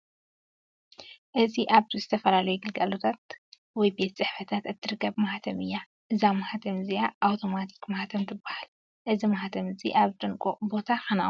እዚ ኣብ ዝተፈላለዩ ግልጋሎታት ወይ ቤት ፅሕፈታት እትርከብ ማህተም እያ ። እዛ ማህተም እዚኣ ኣውተማቲክ ማህተም ትባሃል። እዚ ማህተም እዚ ኣብ ጥንቁቅ ቦታ ክነቅምጦ ኣለና።